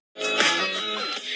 Þeir voru synir